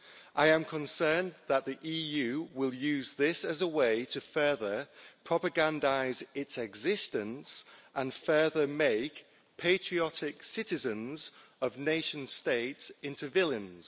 I am concerned that the EU will use this as a way to further propagandise its existence and further make patriotic citizens of nation states into villains.